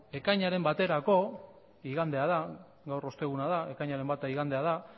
ekainaren baterako igandea da gaur osteguna da ekainaren bata igandea da